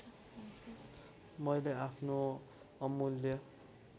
मैले आफ्नो अमुल्य